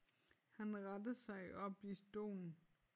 Han retter sig op i stolen